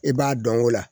I b'a dɔn o la